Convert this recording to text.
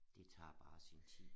Det tager bare sin tid